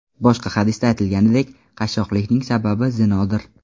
Boshqa hadisda aytilganidek, qashshoqlikning sababi zinodir.